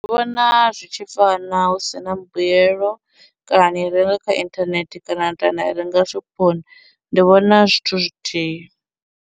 Ndi vhona zwi tshi fana husina mbuyelo, kana ni renga kha inthanethe kana ni to ya na renga shophoni ndi vhona zwithu zwithihi.